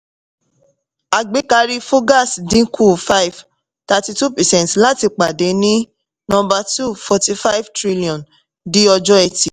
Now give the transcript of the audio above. àgbékarí fugaz dínkù five thirty-two percent láti pàdé ní number two, forty five trillion ní ọjọ́ etì